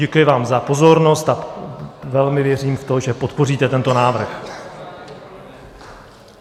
Děkuji vám za pozornost a velmi věřím v to, že podpoříte tento návrh.